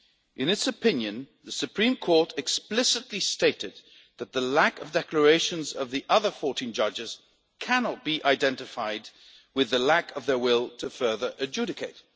In its opinion, the Supreme Court explicitly stated that the lack of declarations of the other 14 judges cannot be identified with the lack of their will to further adjudicate.